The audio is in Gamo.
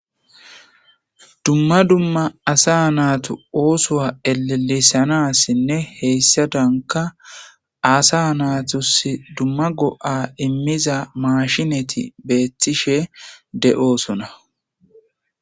Dumma dumma asa naatu oosuwa ellelisanasinne hesaadanka asa naatusi dumma go'a imiiza maashineti beetishe de'osonna.